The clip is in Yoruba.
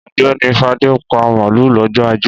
Ọ̀gbẹ́ni Fadé pa màlúù lọ́jọ́ ajé.